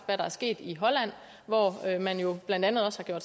hvad der er sket i holland hvor man jo blandt andet også har